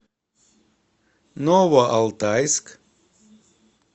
новоалтайск